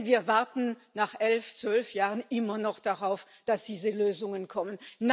Denn wir warten nach elf, zwölf Jahren immer noch darauf, dass diese Lösungen kommen.